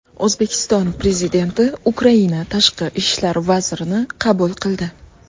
O‘zbekiston Prezidenti Ukraina tashqi ishlar vazirini qabul qildi.